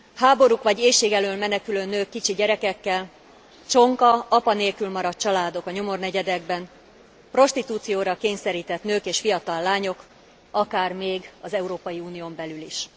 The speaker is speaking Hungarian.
Háborúk vagy éhség elől menekülő nők kicsi gyerekekkel, csonka, apa nélkül maradt családok a nyomornegyedekben, prostitúcióra kényszerített nők és fiatal lányok, akár még az Európai Unión belül is.